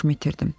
Başımı itirdim.